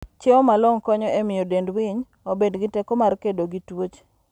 Chiemo malong'o konyo e miyo dend winy obed gi teko mar kedo gi tuoche.